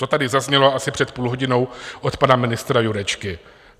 To tady zaznělo asi před půl hodinou od pana ministra Jurečky.